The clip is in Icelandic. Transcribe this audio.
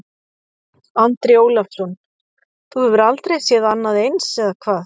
Andri Ólafsson: Þú hefur aldrei séð annað eins, eða hvað?